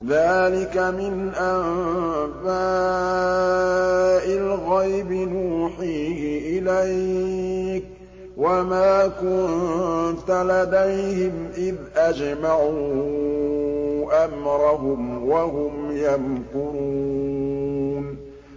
ذَٰلِكَ مِنْ أَنبَاءِ الْغَيْبِ نُوحِيهِ إِلَيْكَ ۖ وَمَا كُنتَ لَدَيْهِمْ إِذْ أَجْمَعُوا أَمْرَهُمْ وَهُمْ يَمْكُرُونَ